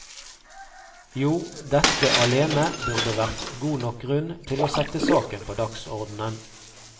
Jo, dette alene burde vært god nok grunn til å sette saken på dagsordenen.